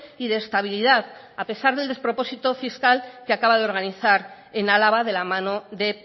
y de estabilidad a pesar del despropósito fiscal que acaba de organizar en álava de la mano de